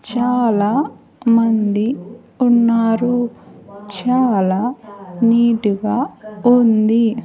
చాలా మంది ఉన్నారు చాలా నీట్ గా ఉంది.